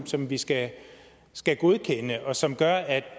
som vi skal skal godkende og som gør at